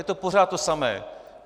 Je to pořád to samé.